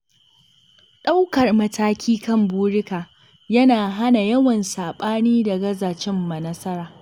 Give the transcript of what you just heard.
Ɗaukar mataki kan burika yana hana yawan saɓani da gaza cimma nasara.